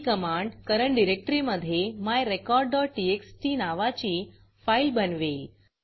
ही command current डिरेक्टरीमधे myrecordटीएक्सटी नावाची फाईल बनवेल